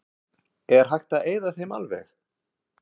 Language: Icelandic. Er hægt að eyða þeim alveg?